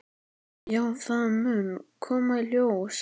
Já, það mun koma í ljós.